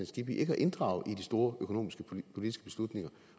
skibby ikke at inddrage i de store økonomiske politiske beslutninger